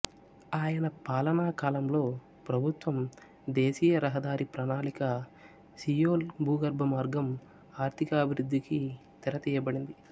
ఆయన పాలనా కాలంలో ప్రభుత్వం దేశీయరహదారి ప్రణాళిక సియోల్ భూగర్భ మార్గం ఆర్థికాఅభివృద్ధికి తెరతీయబడింది